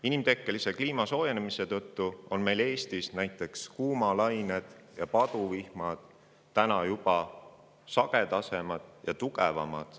Inimtekkelise kliimasoojenemise tõttu on täna Eestis näiteks kuumalained ja paduvihmad juba sagedasemad ja tugevamad.